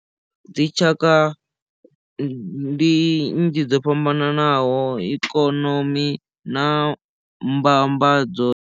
Dzi tshaka ndi nnzhi dzo fhambananaho ikonomi na mbambadzo.